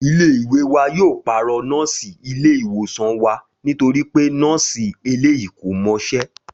Ilé ìwé wa yóò pàrọ̀ nọ́ọ̀sì ilé-ìwòsàn wa nítorí pé nọ́ọ̀sì eléyìí kò mọṣẹ́